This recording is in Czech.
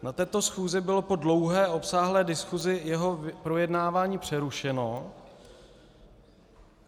Na této schůzi bylo po dlouhé, obsáhlé diskusi jeho projednávání přerušeno.